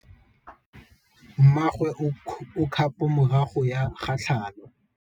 Mmagwe o kgapô morago ga tlhalô.